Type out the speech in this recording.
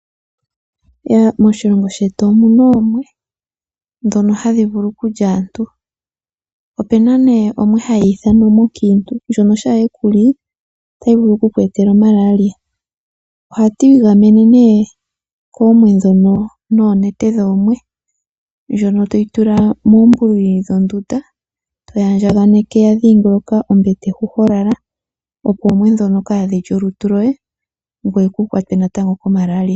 Moshilongo shetu omuna oomwe ndhono hadhi vulu okulya aantu. Opena omwe ohayi ithanwa omwe oonkiintu ndjono shampa yekuli otayi vulu oku ku etala malaria. Ohatu igamene nee koomwe ndhono noonete dhoomwe ndjono toyi tula moombuli dhondunda, toyi andjaganeke ya dhingoloka hoka ho lala opo oomwe ndhono kaadhilye olutu lwoye ngoye kukwatwe natango ko Malaria.